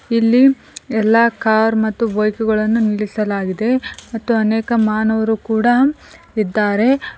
ಇಲ್ಲಿ ಎಲ್ಲಾ ಕಾರ್ ಮತ್ತು ಬೈಕ್ ಗಳನ್ನು ನಿಲ್ಲಿಸಲಾಗಿದೆ ಮತ್ತು ಅನೇಕ ಮಾನವರು ಕೂಡ ಇದ್ದಾರೆ.